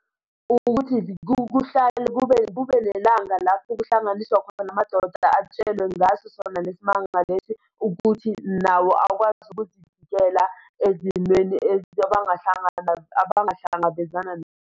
Ukuthi kuhlale kube, kube nelanga lapho kuhlanganiswa khona amadoda atshelwe ngaso sona lesi manga lesi, ukuthi nawo akwazi ukuzivikela ezimweni abahlangana, abangahlangabezana.